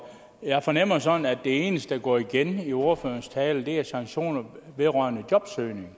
jeg fornemmer sådan at det eneste der går igen i ordførerens tale er sanktioner vedrørende jobsøgning